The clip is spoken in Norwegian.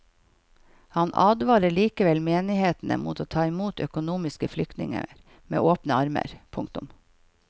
Han advarer likevel menighetene mot å ta imot økonomiske flyktninger med åpne armer. punktum